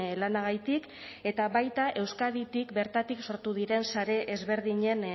lanagatik eta baita euskaditik bertatik sortu diren sare ezberdinen